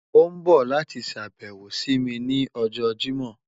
O n bọ lati ṣabẹwo si mi ni ọjọ Jimọ